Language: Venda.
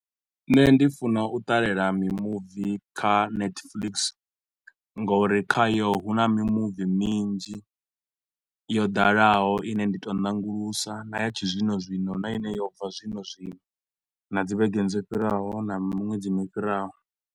Nṋe ndi funa u ṱalela mimuvi kha netflix nga uri khayo hu na mimuvi minzhi yo dalaho ine ndi to u nanguludza, na ya tshizwino zwino na ine yo bva zwino zwino na dzi vhegeni dzo fhiraho na miṅwedzini fhiraho.